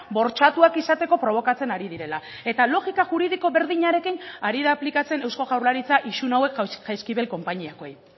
bortxatuak izateko probokatzen ari direla eta logika juridiko berdinarekin ari da aplikatzen eusko jaurlaritza isun hauek jaizkibel konpainiakoei